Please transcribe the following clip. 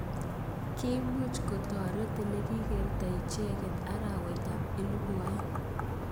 Kimuch koterot olekikertoi icheket arawet ab elibu aeng.